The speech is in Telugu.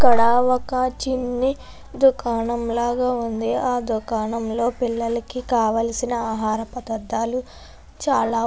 ఇక్కడ ఒక చిన్నీ దుకాణం లాగా వుంది ఆ దుకాణం లో పిల్లలకి కావాల్సిన ఆహార పదార్దాలు చాల.